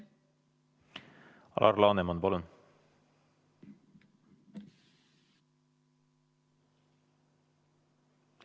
Alar Laneman, palun!